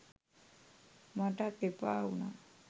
මටත් එපාවුනා